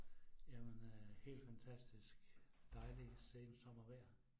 Jamen øh helt fantastisk, dejlig sensommervejr